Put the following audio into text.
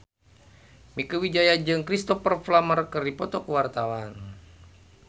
Mieke Wijaya jeung Cristhoper Plumer keur dipoto ku wartawan